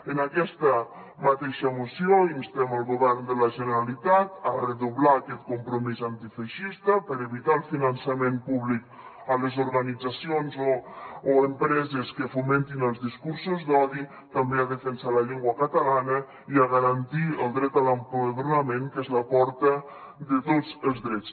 en aquesta mateixa moció instem el govern de la generalitat a redoblar aquest compromís antifeixista per evitar el finançament públic a les organitzacions o empreses que fomentin els discursos d’odi també a defensar la llengua catalana i a garantir el dret a l’empadronament que és la porta de tots els drets